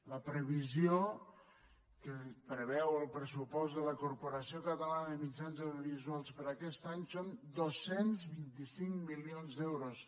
la previsió que preveu el pressupost de la corporació catalana de mitjans audiovisuals per a aquest any són dos cents i vint cinc milions d’euros